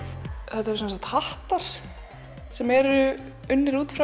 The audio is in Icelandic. þetta eru sem sagt hattar sem eru unnir út frá